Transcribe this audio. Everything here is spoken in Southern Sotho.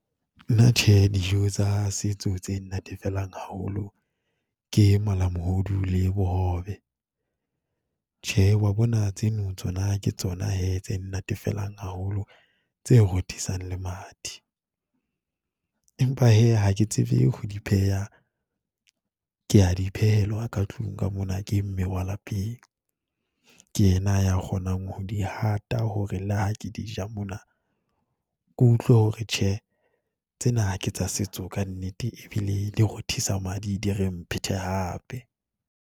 Nna Tjhe, dijo tsa setso tse nnatefelang haholo ke malamohodu le bohobe. Tjhe, o wa bona tseno tsona ke tsona hee tse nnatefelang haholo, tse rothisang le mathe. Empa hee ha ke tsebe ho di pheha, ke ya di phehelwa ka tlung ka mona, ke mme wa lapeng. Ke yena ya kgonang ho di hata hore le ha ke di ja mona, ke utlwe hore tjhe, tsena ha ke tsa setso ka nnete e bile di rothisa madi di re mphete hape.